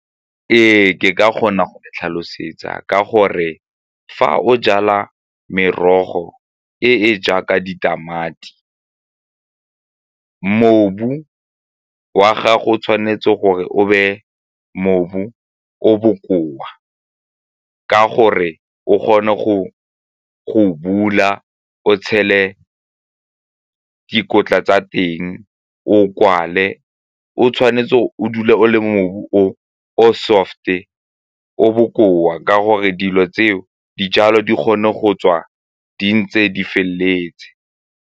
Ee, ke ka kgona go tlhalosetsa ka gore fa o jala merogo e e jaaka ditamati, mobu wa gago o tshwanetse gore o be , mobu o bokoa ka gore o kgone go go bula o tshele dikotla tsa teng o o kwale o tshwane fa o dule o le mobu o o soft-e, o o bokoa ka gore dilo tseo dijalo di kgone go tswa di ntse di feleletse.